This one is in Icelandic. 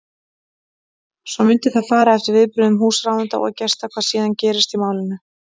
Svo mundi það fara eftir viðbrögðum húsráðenda og gesta hvað síðan gerist í málinu.